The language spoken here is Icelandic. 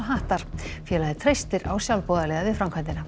hattar félagið treystir á sjálfboðaliða við framkvæmdina